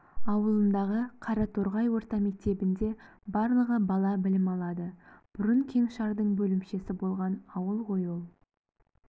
ауылындағы қараторғай орта мектебінде барлығы бала білім алады бұрын кеңшардың бөлімшесі болған ауыл ғой ол